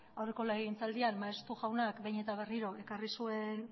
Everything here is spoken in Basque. aurreko legegintzaldian maeztu jaunak behin eta berriro ekarri zuen